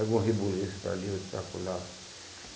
Algum rebuliço para ali, outro por lá.